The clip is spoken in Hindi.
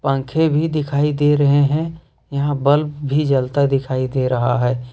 पंखे भी दिखाई दे रहे हैं यहां बल्ब भी जलता दिखाई दे रहा है।